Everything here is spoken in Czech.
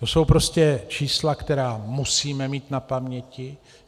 To jsou prostě čísla, která musíme mít na paměti.